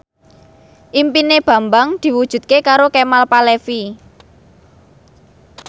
impine Bambang diwujudke karo Kemal Palevi